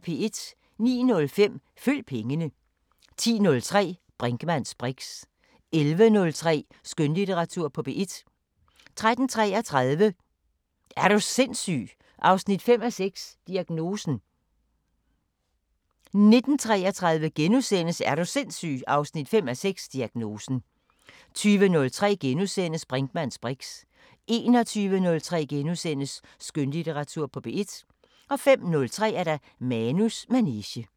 09:05: Følg pengene 10:03: Brinkmanns briks 11:03: Skønlitteratur på P1 13:33: Er du sindssyg 5:6 – Diagnosen 19:33: Er du sindssyg 5:6 – Diagnosen * 20:03: Brinkmanns briks * 21:03: Skønlitteratur på P1 * 05:03: Manus manege